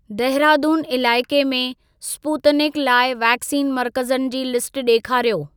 देहरादून इलाइक़े में स्पूतनिक लाइ वैक्सीन मर्कज़नि जी लिस्ट ॾेखारियो।